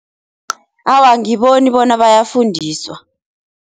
Awa angiboni bona bayafundiswa.